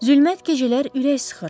Zülmət gecələr ürək sıxır.